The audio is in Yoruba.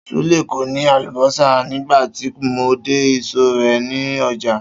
Súlè kò ní àlùbó̩sà nígbà tí mo dé ìsò̩ rè̩ nínú o̩jà